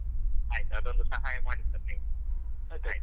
ಆಯ್ತು ಅದೊಂದು ಸಹಾಯ sir ನೀವು ಆಯ್ತಾ.